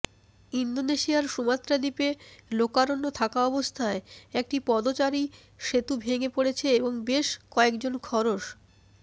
ইন্দোনেশিয়ার সুমাত্রা দ্বীপে লোকারণ্য থাকা অবস্থায় একটি পদচারী সেতু ভেঙে পড়েছে এবং বেশ কয়েকজন খরস